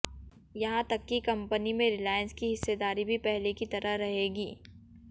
यहां तक कि कंपनी में रिलायंस की हिस्सेदारी भी पहले की तरह रहेगी